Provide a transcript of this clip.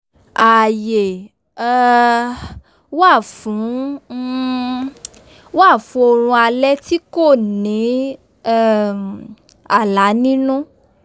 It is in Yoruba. ààyè um wá fún um wá fún oorun alé̩ tí ko̩ ní um àlá nínú